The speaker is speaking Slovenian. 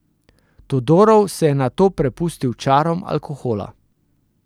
Todorov se je nato prepustil čarom alkohola.